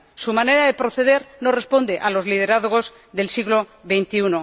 Su manera de proceder no responde a los liderazgos del siglo XXI.